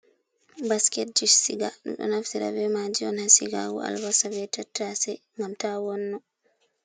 Basketji siga. En ɗon naftira ɓe maaji on ha sigago albasa be tattase, ngam ta wonno.